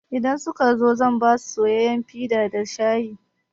Idan suka zo zan basu soyayyan fita da shayi.